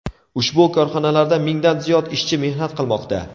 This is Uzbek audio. Ushbu korxonalarda mingdan ziyod ishchi mehnat qilmoqda.